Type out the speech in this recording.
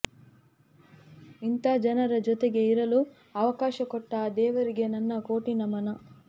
ಇಂಥ ಜನರ ಜೊತೆಗೆ ಇರಲು ಅವಕಾಶ ಕೊಟ್ಟ ಆ ದೇವರಿಗೆ ನನ್ನ ಕೋಟಿ ನಮನ